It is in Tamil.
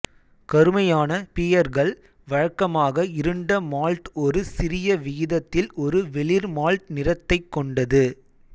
கருமையான பீயர்கள் வழக்கமாக இருண்ட மால்ட் ஒரு சிறிய விகிதத்தில் ஒரு வெளிர் மால்ட் நிறத்தைக்கொண்டது